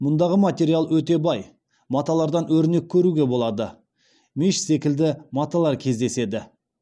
мұндағы материал өте бай маталардан өрнек көруге болады меш секілді маталар кездеседі